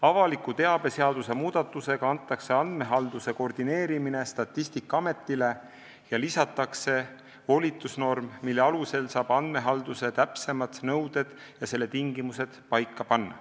Avaliku teabe seaduse muudatusega antakse andmehalduse koordineerimine Statistikaametile ja lisatakse volitusnorm, mille alusel saab andmehalduse täpsemad nõuded ja selle tingimused paika panna.